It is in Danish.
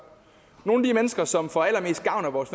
nogle af de mennesker som får allermest gavn af vores